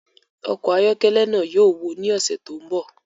Ọkọ̀ ayọ́kẹ́lẹ́ náà yóò wó ní ọ̀sẹ̀ tó ń bọ̀